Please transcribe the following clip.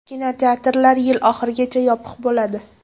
Kinoteatrlar yil oxirigacha yopiq bo‘ladi.